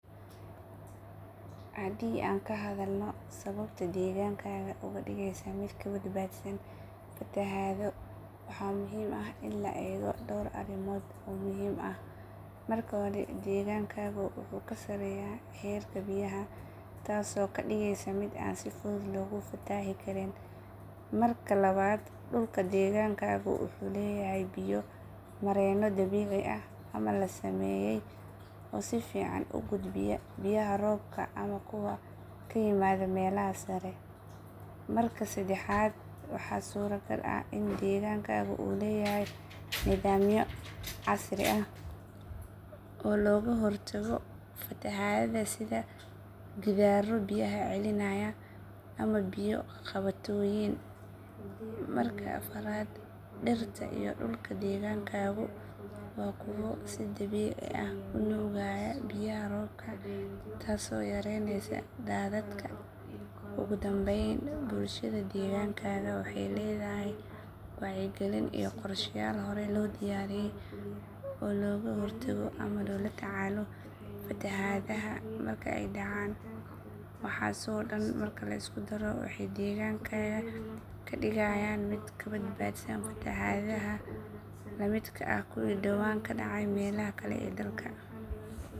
Haddii aan ka hadalno sababta deegaankaaga uga dhigaysa mid ka badbaadsan fatahaado, waxaa muhiim ah in la eego dhowr arrimood oo muhiim ah. Marka hore, deegaankaagu wuxuu ka sarreeyaa heerka biyaha, taasoo ka dhigaysa mid aan si fudud loogu fatahi karin. Marka labaad, dhulka deegaankaagu wuxuu leeyahay biyo-mareeno dabiici ah ama la sameeyay oo si fiican u gudbiya biyaha roobka ama kuwa ka yimaada meelaha sare. Marka saddexaad, waxaa suuragal ah in deegaankaagu uu leeyahay nidaamyo casri ah oo looga hortago fatahaadaha sida gidaarro biyaha celinaya ama biyo qabatooyin. Marka afaraad, dhirta iyo dhulka deegaankaagu waa kuwo si dabiici ah u nuugaya biyaha roobka taasoo yareynaysa daadadka. Ugu dambeyn, bulshada deegaankaaga waxay leedahay wacyigelin iyo qorsheyaal horey loo diyaariyay oo looga hortago ama loola tacaalo fatahaadaha marka ay dhacaan. Waxaas oo dhan marka la isku daro waxay deegaankaaga ka dhigayaan mid ka badbaadsan fatahaadaha la midka ah kuwii dhowaan ka dhacay meelaha kale ee dalka.